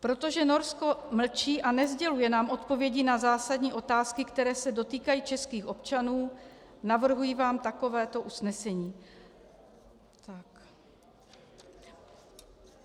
Protože Norsko mlčí a nesděluje nám odpovědi na zásadní otázky, které se dotýkají českých občanů, navrhuji vám takovéto usnesení.